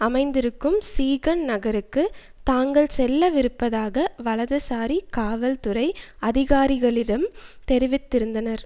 அமைந்திருக்கும் சீகன் நகருக்கு தாங்கள் செல்ல விருப்பதாக வலதுசாரி காவல்துறை அதிகாரிகளிடம் தெரிவித்திருந்தனர்